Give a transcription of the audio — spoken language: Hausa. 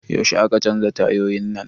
Yaushe aka canza tayoyin nan?